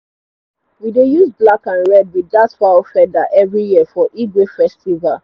we dey use black and red with that fowl feather every year for igwe festival